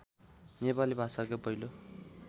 नेपाली भाषाकै पहिलो